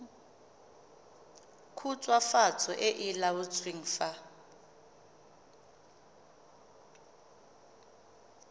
khutswafatso e e laotsweng fa